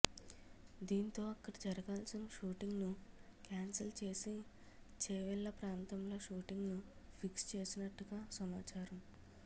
దీంతో అక్కడ జరగాల్సిన షూటింగ్ ను క్యాన్సిల్ చేసి చేవెళ్ల ప్రాంతంలో షూటింగ్ ను ఫిక్స్ చేసినట్టుగా సమాచారం